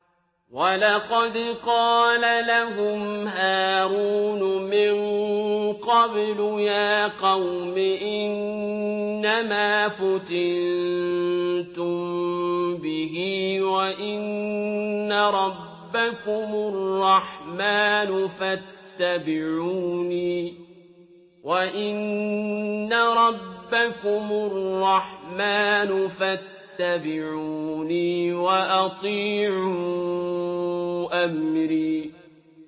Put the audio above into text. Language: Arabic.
وَلَقَدْ قَالَ لَهُمْ هَارُونُ مِن قَبْلُ يَا قَوْمِ إِنَّمَا فُتِنتُم بِهِ ۖ وَإِنَّ رَبَّكُمُ الرَّحْمَٰنُ فَاتَّبِعُونِي وَأَطِيعُوا أَمْرِي